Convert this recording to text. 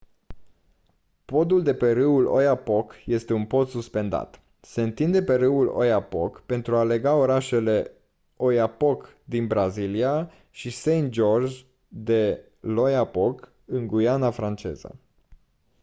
podul de pe râul oyapock este un pod suspendat se întinde pe râul oyapock pentru a lega orașele oiapoque din brazilia și saint-georges de l'oyapock în guyana franceză